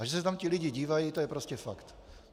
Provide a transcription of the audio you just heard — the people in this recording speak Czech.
A že se tam ti lidé dívají, to je prostě fakt.